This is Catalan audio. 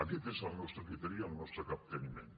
aquest és el nostre criteri i el nostre capteniment